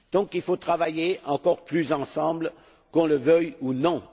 Il faut donc travailler encore plus ensemble, qu'on le veuille ou non.